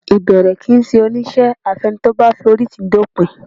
Ìbẹ̀rẹ̀ kì í ṣe oníṣẹ́ àfi ẹni tó bá forítìí dópin